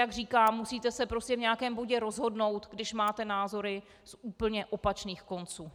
Jak říkám, musíte se prostě v nějakém bodě rozhodnout, když máte názory z úplně opačných konců.